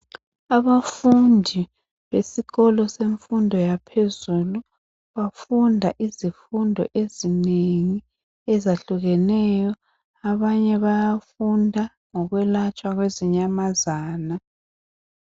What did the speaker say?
Abafundi besikolo semfundo yaphezulu bafunda izifundo ezinengi ezahlukeneyo abanye bayafunda ngokwelatshwa kwezinyamazana.